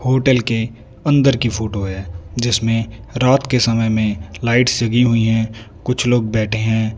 Hotel के अंदर की फोटो है जिसमें रात के समय में लाइट जली हुई है कुछ लोग बैठे हैं।